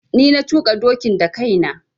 Ni na tuƙa dokin da kai na.